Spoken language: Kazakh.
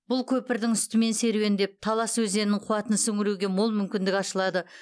бұл көпірдің үстімен серуендеп талас өзенінің қуатын сіңіруге мол мүмкіндік ашылады